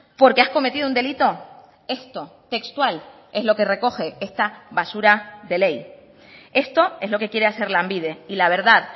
porque has cometido un delito esto textual es lo que recoge esta basura de ley esto es lo que quiere hacer lanbide y la verdad